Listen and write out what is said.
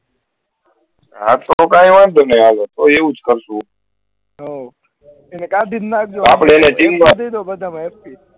હા તો કઈ વાંધો નહી તો એવુજ કરશુ આપળે પેહલા team મા